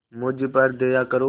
मुझ पर दया करो